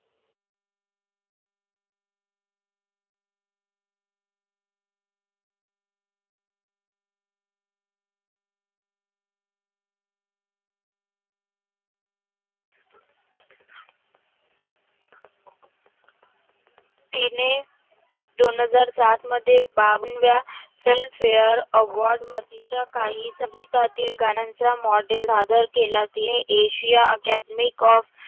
तिने दोन हजार सात मध्ये बावनव्या FilmfareAward मध्ये कही संगीतातील गाण्याच्या Model सादर केला तिने Asia academy of